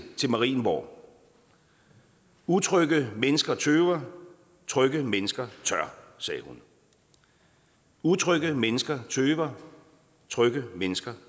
marienborg utrygge mennesker tøver trygge mennesker tør sagde hun utrygge mennesker tøver trygge mennesker